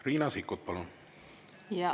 Riina Sikkut, palun!